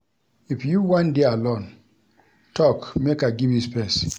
If you wan dey alone, tok make I give you space.